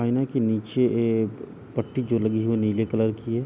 आइना के नीचे एक पट्टी जो लगी है वो नील कलर की है।